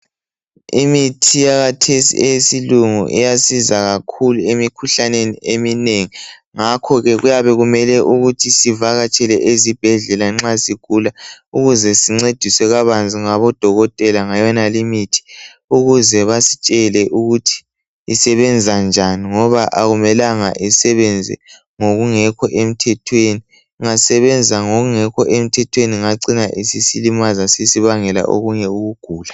Imithi yakhathesi eyesilungu iyasiza kakhulu emikhuhlaneni eminengi ngakho ke kuyabe kumele ukuthi sivakatshele izibhedlela nxa sigula ukuze singcediswe kabanzi ngabodokotela ngayonale imithi ukuze basitshele ukuthi isebenza njani ngoba akumelanga isebenze ngokungekho emthethweni ingasebenza ngokungekho emthethweni ingacina isilimaza isibangela okunye ukugula